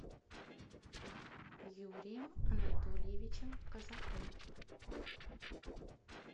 юрием анатольевичем козаком